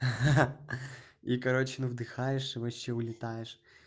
ха-ха и короче на вдыхаешь и вообще улетаешь